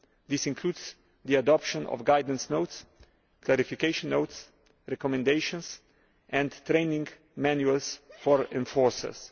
This includes the adoption of guidance notes, clarification notes, recommendations and training manuals for enforcers.